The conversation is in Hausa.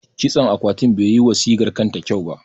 Kitson akwatin bai yi wa sigar kanta kyau ba.